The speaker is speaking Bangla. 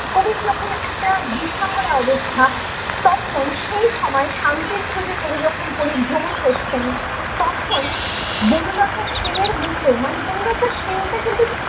কবির যখন একটা দিশাহারা অবস্থা তখন সেই সময়ে শান্তির খোঁজে কবি যখন পরিভ্রমন করছেন তখন বনলতা সেনের মতো মানে বনলতা সেন টা কিন্তু